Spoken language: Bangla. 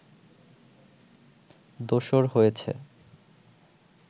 দোসর হয়েছে